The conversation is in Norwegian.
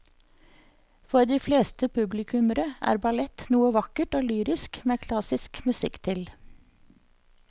For de fleste publikummere er ballett noe vakkert og lyrisk med klassisk musikk til.